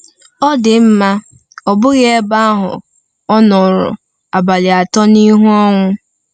Ọ dị mma, ọ bụghị ebe ahụ — ọ nọrọ abalị atọ n’ihu ọnwụ.